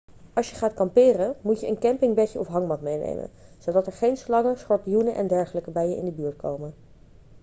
als je gaat kamperen moet je een campingbedje of hangmat meenemen zodat er geen slangen schorpioenen en dergelijke bij je in de buurt komen